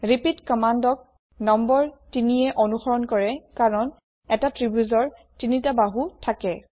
repeat কম্মান্দক নং ৩য়ে অনুসৰণ কৰে কাৰণ এটা ত্ৰিভূজৰ ৩ টা বাহু থাকে